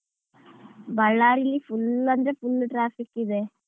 ಬಳ್ಳಾರಿಲಿ full ಅಂದ್ರ್ full traffic ಇದೆ.